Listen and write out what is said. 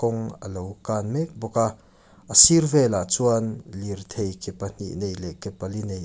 a lo kan mek bawk a a sir velah chuan lirthei ke pahnih nei leh ke pali nei--